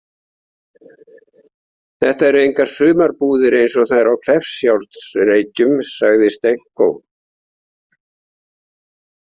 Þetta eru engar sumarbúðir eins og þær á Kleppjárnsreykjum, sagði Stenko.